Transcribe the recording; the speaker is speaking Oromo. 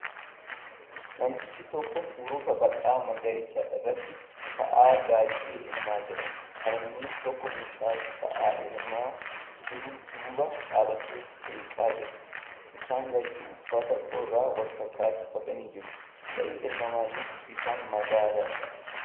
Namtichi tokko hurufa bal'aa magariisa irratti sa'a gaadi'ee elmaa jira. Harmeen tokko mucaa sa'a elmaa jiru duuba dhaabbattee seeqaa jirti. Isaan lachuu uffata qorraa wal fakkaataa uffatanii jiru. Sa'i elmamaa jirtu bifaan magaala.